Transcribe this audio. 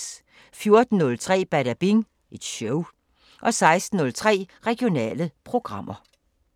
14:03: Badabing Show 16:03: Regionale programmer